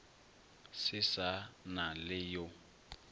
se sa na le yo